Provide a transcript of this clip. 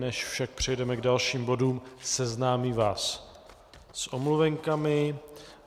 Než však přejdeme k dalším bodům, seznámím vás s omluvenkami.